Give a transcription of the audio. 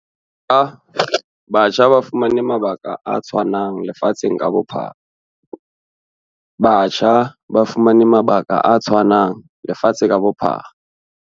Batjha ba fumane mabaka a tshwanang lefatsheng ka bo-phara.